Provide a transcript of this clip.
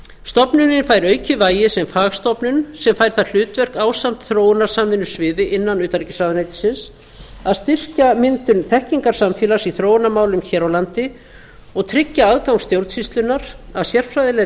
stofnunin fær aukið vægi sem fagstofnun sem fær það hlutverk ásamt þróunarsamvinnusviði innan utanríkisráðuneytisins að styrkja myndun þekkingarsamfélags í þróunarmálum hér á landi og tryggja aðgang stjórnsýslunnar að sérfræðilegri